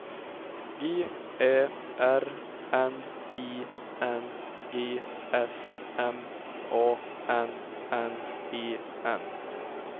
G Ä R N I N G S M A N N E N